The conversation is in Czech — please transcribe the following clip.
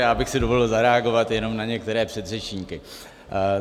Já bych si dovolil zareagovat jenom na některé předřečníky.